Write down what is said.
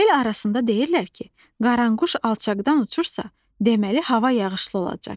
El arasında deyirlər ki, qaranquş alçaqdan uçursa, deməli hava yağışlı olacaq.